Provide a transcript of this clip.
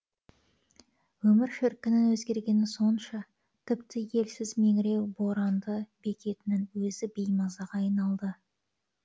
өмір шіркіннің өзгергені сонша тіпті елсіз меңіреу боранды бекетінің өзі беймазаға айналды